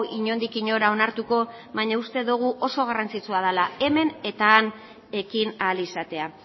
inondik inora onartuko baina uste dugu oso garrantzitsua dela hemen eta han ekin ahal izatea